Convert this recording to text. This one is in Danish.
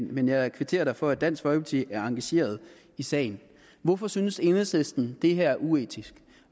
men jeg kvitterer da for at dansk folkeparti er engageret i sagen hvorfor synes enhedslisten det her er uetisk